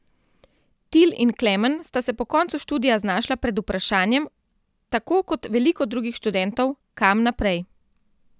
Til in Klemen sta se po koncu študija znašla pred vprašanjem, tako kot veliko drugih študentov, kam naprej.